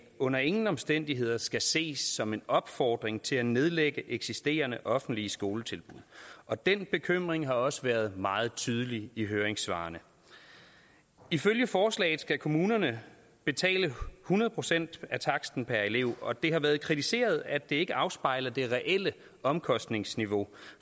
under ingen omstændigheder skal ses som en opfordring til at nedlægge eksisterende offentlige skoletilbud og den bekymring har også været meget tydelig i høringssvarene ifølge forslaget skal kommunerne betale hundrede procent af taksten per elev og det har været kritiseret at det ikke afspejler det reelle omkostningsniveau